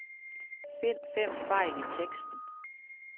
Find fem fejl i teksten.